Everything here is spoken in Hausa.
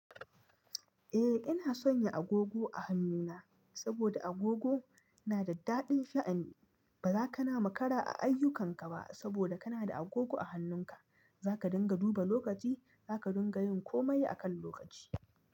Eh ina sonya agogo a hannuna, saboda agogo na da daɗin sha'ani, ba za ka na makara a ayyukanka ba, saboda ka na da agogo a hannunka. Za ka dinga duba lokaci, za ka dinga yin komai akan lokaci.